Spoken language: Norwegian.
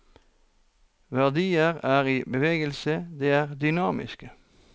Verdier er i bevegelse, de er dynamiske.